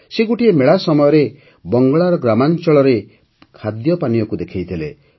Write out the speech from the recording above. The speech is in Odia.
ସେ ଗୋଟିଏ ମେଳା ସମୟରେ ବଙ୍ଗଳାର ଗ୍ରାମାଞ୍ଚଳର ଖାଦ୍ୟପାନୀୟକୁ ଦେଖାଇଥିଲେ